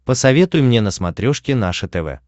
посоветуй мне на смотрешке наше тв